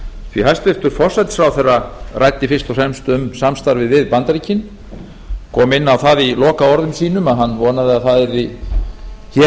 því að hæstvirtur forsætisráðherra ræddi fyrst og fremst um samstarfið við bandaríkin kom inn á það í lokaorðum sínum að hann vonaði að það yrði hér